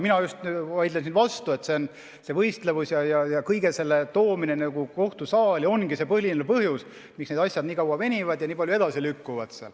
Mina just vaidleksin vastu, et see võistlevus, kõige selle toomine kohtusaali ongi see põhiline põhjus, miks need asjad nii kaua venivad ja nii palju edasi lükkuvad.